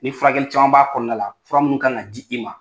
Ni furakɛ caman b'a kɔnɔna la fura minnu kan ka di i ma